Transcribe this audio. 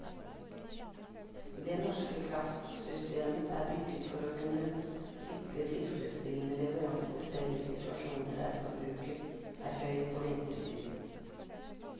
Det norske kraftsystemet er bygget for å kunne sikre tilfredsstillende leveranser selv i situasjoner der forbruket er høyt på vinterstid.